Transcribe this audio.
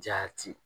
Jaati